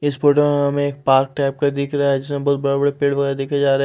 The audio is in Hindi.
इस फोटो अ में एक पार्क टाइप का दिख रहा है जिसमें बहुत बड़े बड़े पेड़ पौधे देखे जा रहे--